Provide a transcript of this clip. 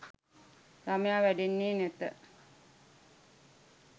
ළමයා වැඩෙන්නේ නැත.